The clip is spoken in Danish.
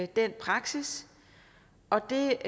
den praksis og det